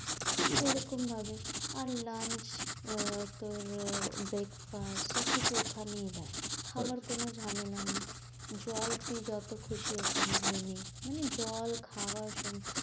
এরকম ভাবে, আর lunch আহ তোর breakfast সব কিছু ওখানেই দেয়। খাবার কোনো ঝামেলা নেই, জল তুই যত খুশি ওখান দিয়ে নে, মানে জল খাবার সব